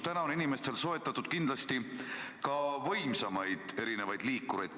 Täna on inimestel soetatud kindlasti ka võimsamaid liikureid.